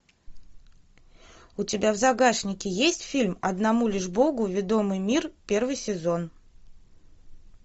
у тебя в загашнике есть фильм одному лишь богу ведомый мир первый сезон